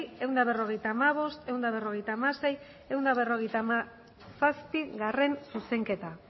ehun eta berrogeita hamabost ehun eta berrogeita hamasei ehun eta berrogeita hamazazpigarrena zuzenketa